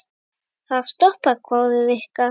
Ha, stoppa? hváði Rikka.